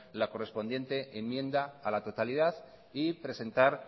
la correspondiente enmienda a la totalidad y presentar